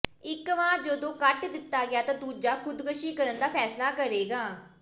ਇਕ ਵਾਰ ਜਦੋਂ ਕੱਟ ਦਿੱਤਾ ਗਿਆ ਤਾਂ ਦੂਜਾ ਖੁਦਕੁਸ਼ੀ ਕਰਨ ਦਾ ਫ਼ੈਸਲਾ ਕਰੇਗਾ